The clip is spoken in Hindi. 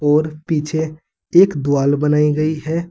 और पीछे एक द्वाल बनाई गई है।